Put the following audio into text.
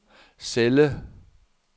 celle